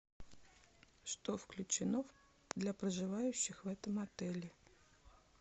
что включено для проживающих в этом отеле